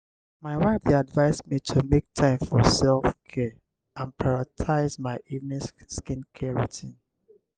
my wife dey advise me to make time for self-care and prioritize my evening skincare routine.